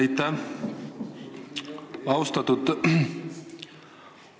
Aitäh!